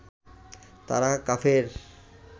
তারা কাফের